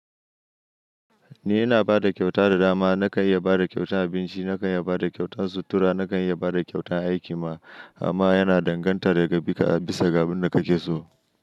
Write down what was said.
Ni ina bada kyauta da dama. Nakan iya bada kyautan abinci, nakan iya bada kyautan sutura, nakan iya bada kyautan aiki ma amma yana danganta daga bisa ga abin da kake so.